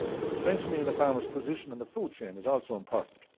Strengthening the farmers' position in the food chain is also important.